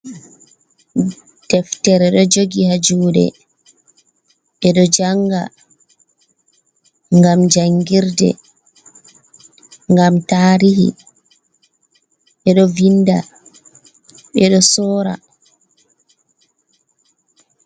Deftere do jogi ha jude be do janga ,gam jangirde gam tarihi bedo vinda be do sora.